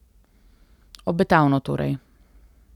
Obetavno torej.